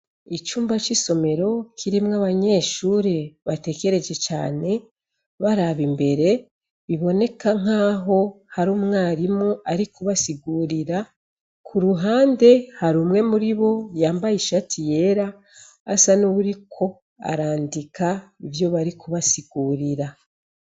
Icumba c'isomero kirimwo abanyeshure batekereje cane, baraba imbere, biboneka nk'aho hari umwarimu ari kubasigurira. Kuruhande hari umwe muri bo yambaye ishati y'era, asa n'uwuriko arandika ivyo bari kubasigurira.